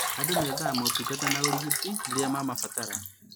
Andũ methaga motungata ma ũrigiti rĩrĩa mamabatara